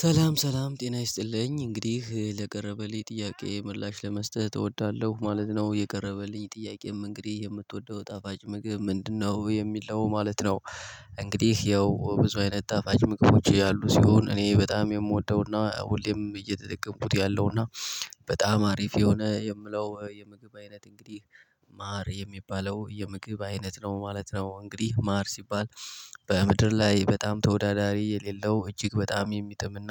ሰላም ሰላም ጤና ይስጥልኝ እንግዲህ ለቀረበልኝ ጥያቄ ምላሽ ለመስጠት እወዳለሁ ማለት ነው። የቀረበልኝ ጥያቄም እንግዲህ የምትወደው ጣፋጭ ምግብ ምንድነው? የሚል ነው ማለት ነው። እንግዲህ ያው ብዙ አይነት ጣፋጭ ምግቦች ያሉ ሲሆን እኔ በጣም የምወደውና ሁሌም እየተጠቀምኩት ያለውና በጣም አሪፍ የሆነ የምለው የምግብ አይነት እንግዲህ ማር የሚባለው የምግብ አይነት ነው ማለት ነው። እንግዲህ ማር ሲባል በምድር ላይ በጣም ተወዳዳሪ የሌለው እጅግ በጣም የሚጥምና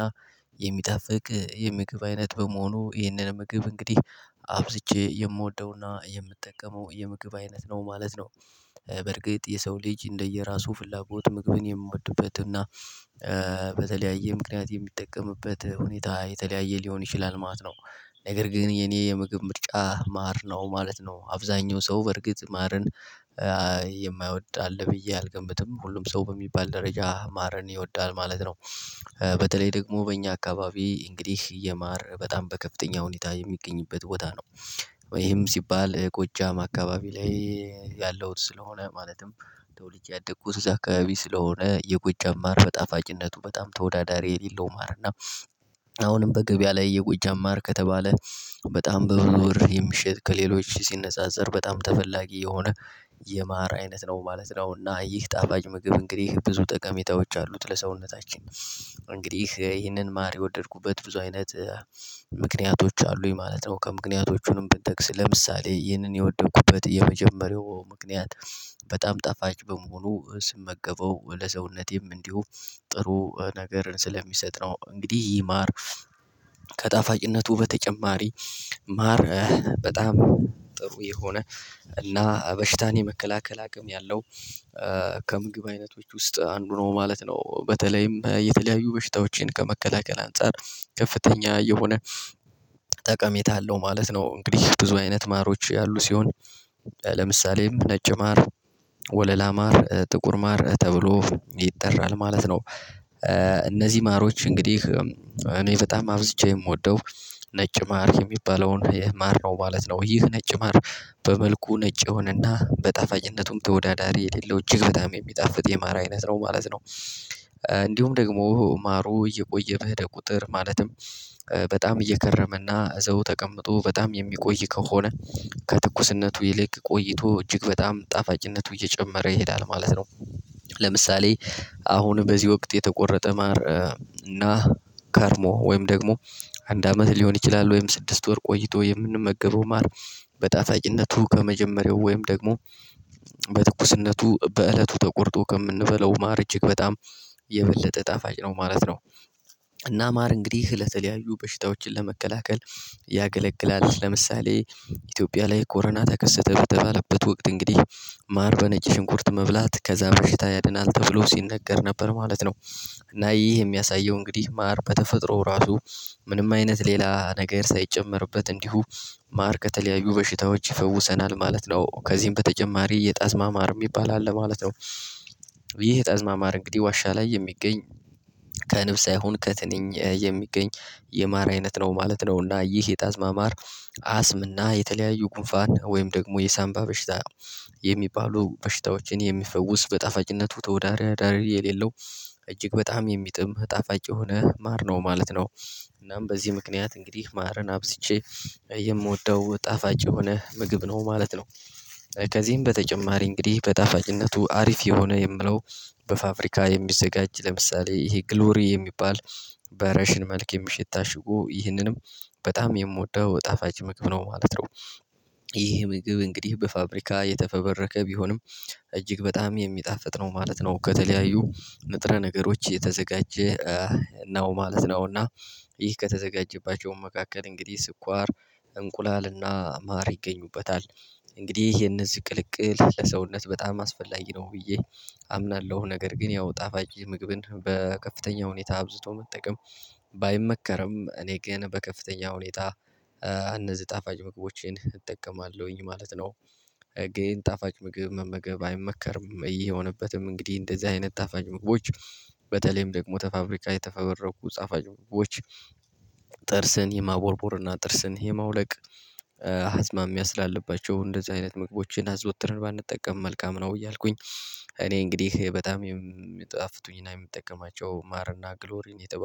የሚጣፍቅ የምግብ አይነት በመሆኑ ይህንን ምግብ እንግዲህ አብዝቼ የምወደውና የምጠቀመው የምግብ አይነት ነው ማለት ነው። በርግጥ የሰው ልጅ እንደየራሱ ፍላጎት ምግብን የምወድበትና እና በተለያየ ምክንያት የሚጠቀምበት ሁኔታ የተለያየ ሊሆን ይችላል ማለት ነው። ነገር ግን የኔ የምግብ ምርጫ ማር ነው ማለት ነው። አብዛኛው ሰው በርግጥ ማርን የማይወድ አለ ብዬ አልገምትም ሁሉም ሰው በሚባል ደረጃ ማርን ይወዳል ማለት ነው። በተለይ ደግሞ በእኛ አካባቢ እንግዲህ የማር በጣም በከፍተኛ ሁኔታ የሚገኝበት ቦታ ነው። ይህም ሲባል ጎጃም አካባቢ ላይ ያለውት ስለሆነ ማለትም ተወልጄ ያደጉት አካባቢ ስለሆነ የጎጃም ማር በጣፋጭነቱ በጣም ተወዳዳሪ የሌለው። ማር እና አሁንም በገበያ ላይ የጎጃም ማር ከተባለ በጣም በብዙ ብር የሚሸጥ ከሌሎች ሲነጻጸር በጣም ተፈላጊ የሆነ የማር አይነት ነው ማለት ነው። እና ይህ ጣፋጭ ምግብ እንግዲህ ብዙ ጠቀሜታዎች አሉት ለሰውነታችን። እንግዲህ ይህንን ማር የወደድኩበት ብዙ አይነት ምክንያቶች አሉኝ ማለት ነው። ከምክንያቶቹም ብንጠቅስ ለምሳሌ ይህንን የወደድኩበት የመጀመሪያው ምክንያት በጣም ጣፋጭ በመሆኑ ስመገበው ለሰውነቴም እንዲሁ ጥሩ ነገር ስለሚሰጥ ነው። እንግዲህ ይማር ከጣፋጭነቱ በተጨማሪ ማር በጣም ጥሩ የሆነ እና በሽታን የመከላከል አቅም ያለው ከምግብ አይነቶች ውስጥ አንዱ ነው ማለት ነው። በተለይም የተለያዩ በሽታዎችን ከመከላከል አንፃር ከፍተኛ የሆነ ጠቀሜታ አለው ማለት ነው። እንግዲህ ብዙ አይነት ማሮች ያሉ ሲሆን ለምሳሌም ነጭ ማር ወለላ ማር ጥቁር ማር ተብሎ ይጠራል ማለት ነው። እነዚህ ማሮች እንግዲህ እኔ በጣም አብዝቼ የምወደው ነጭ ማር የሚባለውን የማር ነው ማለት ነው። ይህ ነጭ ማር በመልኩ ነጭ የሆነና በጣፋጭነቱም ተወዳዳሪ የሌለው እጅግ በጣም የሚጣፍጥ የማር አይነት ነው ማለት ነው። እንዲሁም ደግሞ ማሮ እየቆየ ደግሞ ቁጥር ማለትም በጣም እየከረመና እዘው ተቀምጦ በጣም የሚቆይ ከሆነ ከትኩስነቱ ይልቅ ቆይቶ እጅግ በጣም ጣፋጭነቱ እየጨመረ ይሄዳል ማለት ነው። ለምሳሌ አሁን በዚህ ወቅት የተቆረጠ ማር እና ከርሞ ወይም ደግሞ አንድ አመት ሊሆን ይችላል ወይም ስድስት ወር ቆይቶ የምንመገበው ማር በጣፋጭነቱ ከመጀመሪያው ወይም ደግሞ በትኩስነቱ በእለቱ ተቆርጦ ከምንበለው ማር እጅግ በጣም የበለጠ ጣፋጭ ነው ማለት ነው። እና ማር እንግዲህ ለተለያዩ በሽታዎችን ለመከላከል ያገለግላል ለምሳሌ ኢትዮጵያ ላይ ኮሮና ተከሰተ በተባለበት ወቅት እንግዲህ ማር በነጭ ሽንኩርት መብላት ከዛ በሽታ ያድናል ተብሎ ሲነገር ነበር ማለት ነው። እና ይህ የሚያሳየው እንግዲህ ማር በተፈጥሮ ራሱ ምንም አይነት ሌላ ነገር ሳይጨመርበት እንዲሁ ማር ከተለያዩ በሽታዎች ይፈውሰናል ማለት ነው። ከዚህም በተጨማሪ የጣዝማ ማር የሚባል አለ ማለት ነው። ይህ የጣዝማ ማር እንግዲህ ዋሻ ላይ የሚገኝ ከንብ ሳይሆን ከትንኝ የሚገኝ የማር አይነት ነው ማለት ነው። እና ይህ የጣዝማ ማር አስምና የተለያዩ ጉንፋን ወይም ደግሞ የሳንባ በሽታ የሚባሉ በሽታዎችን የሚፈውስ በጣፋጭነቱ ተወዳዳሪ የሌለው እጅግ በጣም የሚጥም ጣፋጭ የሆነ ማር ነው ማለት ነው። እናም በዚህ ምክንያት እንግዲህ ማርን አብዝቼ የምወደው ጣፋጭ የሆነ ምግብ ነው ማለት ነው። ከዚህም በተጨማሪ እንግዲህ በጣፋጭነቱ አሪፍ የሆነ የምለው በፋብሪካ የሚዘጋጅ ለምሳሌ ይሄ ግሎሪ የሚባል በረሽን መልክ የሚሸጥ ታሽጎ ይህንንም በጣም የምወደው ጣፋጭ ምግብ ነው ማለት ነው። ይህ ምግብ እንግዲህ በፋብሪካ የተፈበረከ ቢሆንም እጅግ በጣም የሚጣፍጥ ነው ማለት ነው። ከተለያዩ ንጥረ ነገሮች የተዘጋጀ ነው ማለት ነው። እና ይህ ከተዘጋጀባቸው መካከል እንግዲህ ስኳር እንቁላልና ማር ይገኙበታል። እንግዲህ የነዚህ ቅልቅል ለሰውነት በጣም አስፈላጊ ነው ብዬ አምናለሁ። ነገር ግን ያው ጣፋጭ ምግብን በከፍተኛ ሁኔታ አብዝቶ መጠቀም እኔ ግን በከፍተኛ ሁኔታ አነዚህ ጣፋጭ ምግቦችን እጠቀማለሁኝ ማለት ነው። ግን ጣፋጭ ምግብ መመገብ አይመከርም ይህ የሆነበትም እንግዲህ እንደዚህ አይነት ጣፋጭ ምግቦች በተለይም ደግሞ ተፋብሪካ የተፈበረኩ ጻፋጭ ምግቦች ጥርስን የማቦርቦርና ጥርስን የማውለቅ አዝማሚያ ስላለባቸው እንደዚህ አይነት ምግቦችን አዘውትርን ባንጠቀም መልካም ነው እያልኩኝ። እንግዲህ በጣም የም የሚጣፍጡኝ እና የምጠቀማቸው ማር እና ግሎሪን የተባሉ